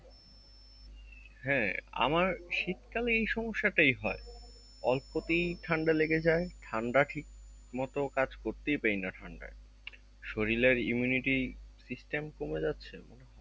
হ্যাঁ আমার শীতকালে এই সমস্যাটাই হয়, অল্পতেই ঠান্ডা লেগে যাই ঠান্ডা ঠিক মতো কাজ করতেই দেয়না ঠান্ডায় শরিলের imunity system কমে যাচ্ছে